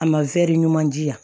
A ma ɲuman di yan